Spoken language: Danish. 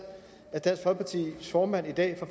at dansk folkepartis formand i dag fra